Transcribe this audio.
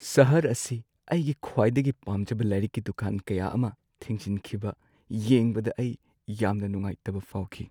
ꯁꯍꯔ ꯑꯁꯤ ꯑꯩꯒꯤ ꯈ꯭ꯋꯥꯏꯗꯒꯤ ꯄꯥꯝꯖꯕ ꯂꯥꯏꯔꯤꯛꯀꯤ ꯗꯨꯀꯥꯟ ꯀꯌꯥ ꯑꯃ ꯊꯤꯡꯖꯤꯟꯈꯤꯕ ꯌꯦꯡꯕꯗ ꯑꯩ ꯌꯥꯝꯅ ꯅꯨꯡꯉꯥꯏꯇꯕ ꯐꯥꯎꯈꯤ꯫